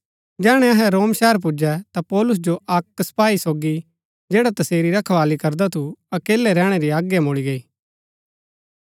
जैहणै अहै रोम शहर पुजै ता पौलुस जो अक्क सपाई सोगी जैडा तसेरी रखवाली करदा थु अकेलै रैहणै री आज्ञा मूळी गई